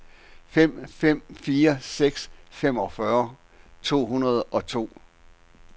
fem fem fire seks femogfyrre to hundrede og to